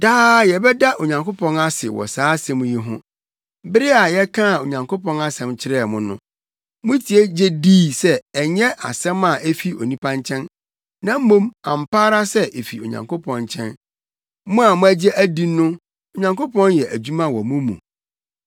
Daa yɛbɛda Onyankopɔn ase wɔ saa asɛm yi ho. Bere a yɛkaa Onyankopɔn asɛm kyerɛɛ mo no, mutie gye dii sɛ ɛnyɛ asɛm a efi onipa nkyɛn, na mmom ampa ara sɛ efi Onyankopɔn nkyɛn. Mo a moagye adi no Onyankopɔn yɛ adwuma wɔ mo mu.